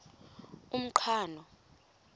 umqhano